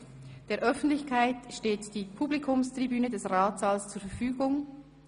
« Der Öffentlichkeit steht die Publikumstribüne des Ratssaals zur Verfügung.